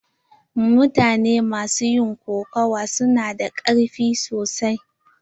Mutane ma su yin kokawa su na da karfi sosai.